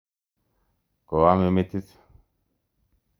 Koame metit.